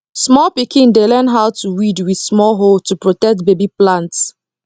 small pikin dey learn how to weed with small hoe to protect baby plants